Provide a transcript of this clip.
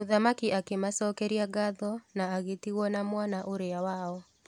Mũthamaki akĩ macokeria ngatho na agĩtigwo na mwana ũrĩa wao.